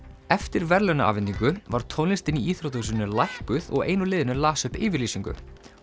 eftir verðlaunaafhendingu var tónlistin í íþróttahúsinu lækkuð og ein úr liðinu las upp yfirlýsingu